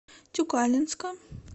тюкалинска